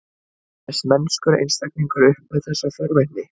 Kæmist mennskur einstaklingur upp með þessa forvitni?